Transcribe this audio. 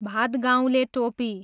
भादगाउँले टोपी